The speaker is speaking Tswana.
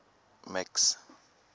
max